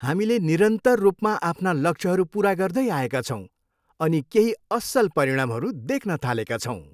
हामीले निरन्तर रूपमा आफ्ना लक्ष्यहरू पुरा गर्दै आएका छौँ अनि केही असल परिणामहरू देख्न थालेका छौँ।